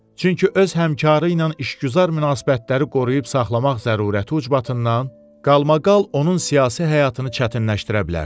Çünki öz həmkarı ilə işgüzar münasibətləri qoruyub saxlamaq zərurəti ucbatından qalmaqal onun siyasi həyatını çətinləşdirə bilərdi.